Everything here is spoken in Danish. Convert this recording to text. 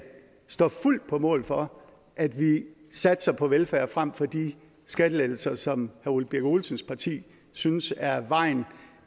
står på mål for at vi satser på velfærd frem for de skattelettelser som ole birk olesens parti synes er vejen